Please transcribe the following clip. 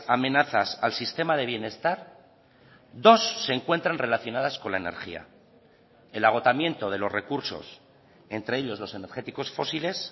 amenazas al sistema de bienestar dos se encuentran relacionadas con la energía el agotamiento de los recursos entre ellos los energéticos fósiles